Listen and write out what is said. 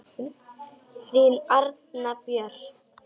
Þín Arna Björg.